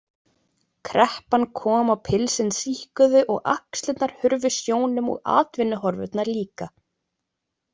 Kreppan kom og pilsin síkkuðu og axlirnar hurfu sjónum og atvinnuhorfurnar líka.